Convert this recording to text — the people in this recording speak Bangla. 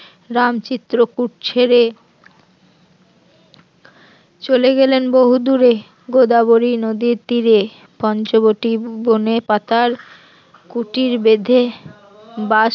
রাম চিত্রকূট ছেড়ে চলে গেলেন বহুদূরে গোদাবরী নদীর তীরে পঞ্চবটি বনে পাতার কুটির বেঁধে বাস